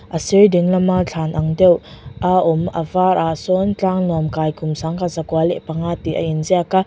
a sir dinglama thlan ang deuh a awm a varah sawn tlang lawn kai kum kum sangkhat zakua leh panga tih a inziak a.